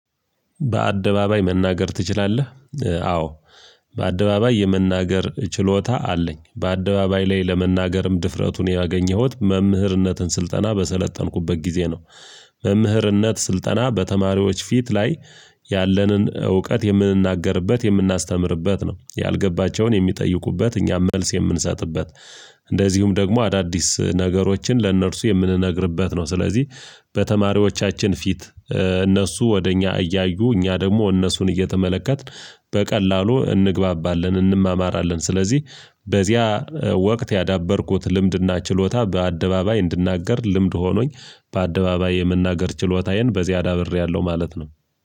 በአደባባይ መናገር ትችላለህ? አዎ በአደባባይ የመናገር ችሎታ አለኝ በአደባባይ ላይ ለመናገርም ድፍረቱን ያገኘሁት መምህርነትን ስልጠና በሰለጠንኩበት ጊዜ ነው። መምህርነት ስልጠና በተማሪዎች ፊት ላይ ያለንን እውቀት የምንናገርበት የምናስተምርበት ነው ያልገባቸውን የሚጠይቁበት እኛም መልስ የምንሰጥበት። እንደዚሁም ደግሞ አዳዲስ ነገሮችን ለእነርሱ የምንነግርበት ነው። ስለዚህ በተማሪዎቻችን ፊት እነሱ ወደ እኛ እያዩ እኛ ደግሞ እነሱን እየተመለከትን በቀላሉ እንግባባለን እንማማራለን። ስለዚህ በዚያ ወቅት ያዳበርኩት ልምድና ችሎታ በአደባባይ እንድናገር ልምድ ሆኖኝ በአደባባይ የመናገር ችሎታዬን በዚያ አዳብሬያለሁ። ማለት ነው።